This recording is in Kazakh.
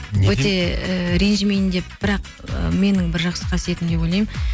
ііі ренжімейін деп бірақ ы менің бір жақсы қасиетім деп ойлаймын